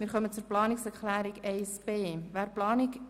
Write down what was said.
Wir kommen zur Planungserklärung 1b der SAK.